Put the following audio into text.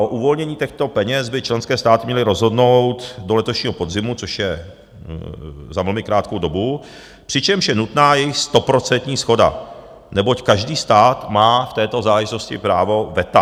O uvolnění těchto peněz by členské státy měly rozhodnout do letošního podzimu, což je za velmi krátkou dobu, přičemž je nutná jejich stoprocentní shoda, neboť každý stát má v této záležitosti právo veta.